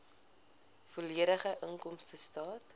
volledige inkomstestaat